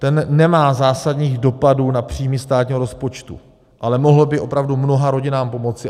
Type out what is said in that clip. Ten nemá zásadních dopadů na příjmy státního rozpočtu, ale mohl by opravdu mnoha rodinám pomoci.